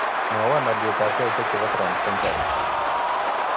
Mwawon alyetap sheaisiekab transcentury